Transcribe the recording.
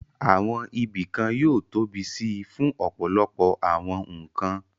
Àwọn ibìkan yóò tóbi síi fún ọ̀pọ̀lọpọ̀ àwọn nǹkan